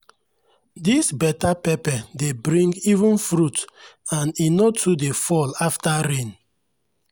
this better pepper dey bring even fruit and e no too dey fall after rain.